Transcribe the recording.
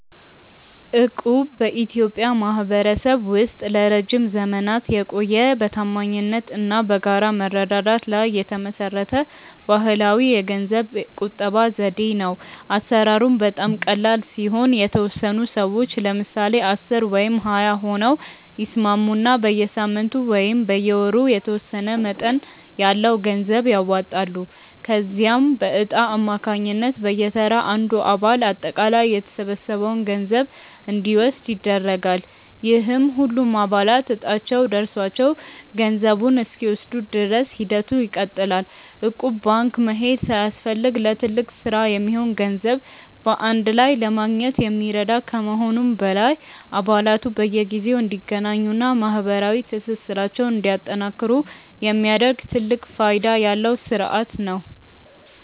እቁብ በኢትዮጵያ ማኅበረሰብ ውስጥ ለረጅም ዘመናት የቆየ፣ በታማኝነት እና በጋራ መረዳዳት ላይ የተመሠረተ ባሕላዊ የገንዘብ ቁጠባ ዘዴ ነው። አሠራሩም በጣም ቀላል ሲሆን፤ የተወሰኑ ሰዎች (ለምሳሌ 10 ወይም 20 ሆነው) ይስማሙና በየሳምንቱ ወይም በየወሩ የተወሰነ መጠን ያለው ገንዘብ ያዋጣሉ። ከዚያም በዕጣ አማካኝነት በየተራ አንዱ አባል አጠቃላይ የተሰበሰበውን ገንዘብ እንዲወስድ ይደረጋል፤ ይህም ሁሉም አባላት ዕጣቸው ደርሷቸው ገንዘቡን እስኪወስዱ ድረስ ሂደቱ ይቀጥላል። እቁብ ባንክ መሄድ ሳያስፈልግ ለትልቅ ሥራ የሚሆን ገንዘብ በአንድ ላይ ለማግኘት የሚረዳ ከመሆኑም በላይ፣ አባላቱ በየጊዜው እንዲገናኙና ማኅበራዊ ትስስራቸውን እንዲያጠናክሩ የሚያደርግ ትልቅ ፋይዳ ያለው ሥርዓት ነው።